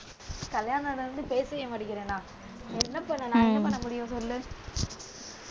கல்யாணம் ஆன உடனே பேசவே மாட்டேங்கிறனா? என்ன பண்ணேன் நான் என்ன பண்ண முடியும் சொல்லு